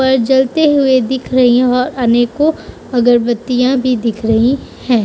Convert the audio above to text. और चलते हुए दिख रही हो अनेकों अगरबतियाँ भी दिख रही हैं।